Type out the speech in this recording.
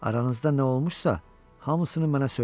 Aranızda nə olmuşsa, hamısını mənə söylə.